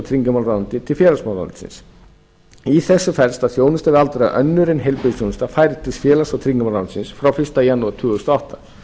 tryggingamálaráðuneyti til félagsmálaráðuneytisins í þessu felst að þjónusta við aldraða önnur en heilbrigðisþjónusta færi til félags og tryggingamálaráðuneytisins frá fyrsta janúar tvö þúsund og átta